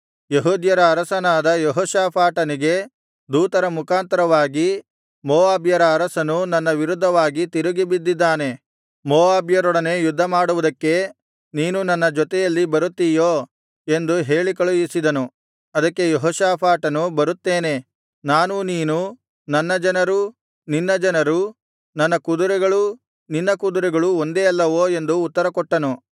ಯೆಹೂದ್ಯರ ಅರಸನಾದ ಯೆಹೋಷಾಫಾಟನಿಗೆ ದೂತರ ಮುಖಾಂತರವಾಗಿ ಮೋವಾಬ್ಯರ ಅರಸನು ನನ್ನ ವಿರುದ್ಧವಾಗಿ ತಿರುಗಿಬಿದ್ದಿದ್ದಾನೆ ಮೋವಾಬ್ಯರೊಡನೆ ಯುದ್ಧಮಾಡುವುದಕ್ಕೆ ನೀನೂ ನನ್ನ ಜೊತೆಯಲ್ಲಿ ಬರುತ್ತೀಯೋ ಎಂದು ಹೇಳಿ ಕಳುಹಿಸಿದನು ಅದಕ್ಕೆ ಯೆಹೋಷಾಫಾಟನು ಬರುತ್ತೇನೆ ನಾನೂ ನೀನೂ ನನ್ನ ಜನರೂ ನಿನ್ನ ಜನರೂ ನನ್ನ ಕುದುರೆಗಳೂ ನಿನ್ನ ಕುದುರೆಗಳೂ ಒಂದೇ ಅಲ್ಲವೋ ಎಂದು ಉತ್ತರಕೊಟ್ಟನು